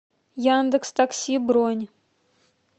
яндекстакси бронь